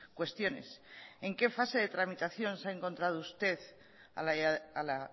cuestiones en qué fase de tramitación se ha encontrado usted a la